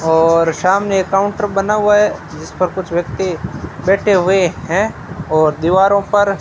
और सामने एक काउंटर बना हुआ है जिस पर कुछ व्यक्ति बैठे हुए हैं और दीवारों पर --